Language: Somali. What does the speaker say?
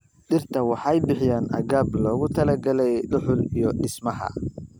Dhirta waxay bixiyaan agab loogu talagalay dhuxul iyo dhismaha.